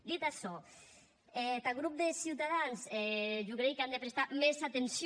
dit açò tath grop de ciutadans jo creigui qu’an de prestar mès atencion